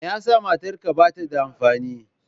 Me yasa matarka bata da amfani?